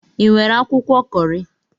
Ị nwere akwụkwọ Kọri?